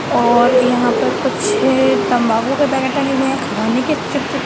और यहाँ पर कुछे तंबाकू के पैकेट टंगे हुए हैं खाने के चिप्स --